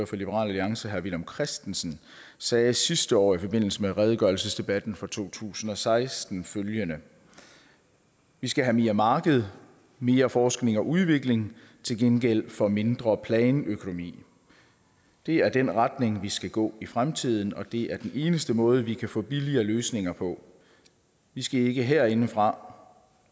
for liberal alliance herre villum christensen sagde sidste år i forbindelse med redegørelsesdebatten for to tusind og seksten følgende vi skal have mere marked mere forskning og udvikling til gengæld for mindre planøkonomi det er den retning vi skal gå i fremtiden og det er den eneste måde vi kan få billigere løsninger på vi skal ikke herindefra